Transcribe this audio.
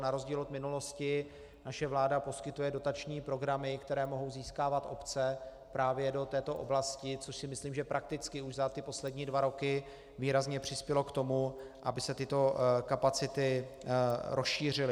Na rozdíl od minulosti naše vláda poskytuje dotační programy, které mohou získávat obce právě do této oblasti, což si myslím, že prakticky už za ty poslední dva roky výrazně přispělo k tomu, aby se tyto kapacity rozšířily.